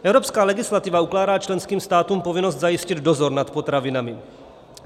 Evropská legislativa ukládá členským státům povinnost zajistit dozor nad potravinami.